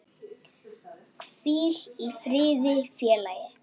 Hvíl í friði félagi.